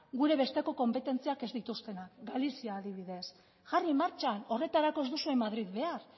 gure besteko konpetentziak ez dituztenak galizia adibidez jarri martxan horretarako ez duzue madril behar